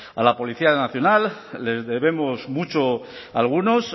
a la policía nacional les debemos mucho a algunos